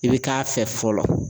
I bɛ k'a fɛ fɔlɔ